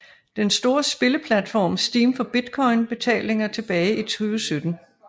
Den store spilleplatform Steam for Bitcoin betalinger tilbage i 2017